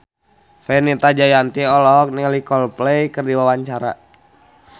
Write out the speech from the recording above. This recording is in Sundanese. Fenita Jayanti olohok ningali Coldplay keur diwawancara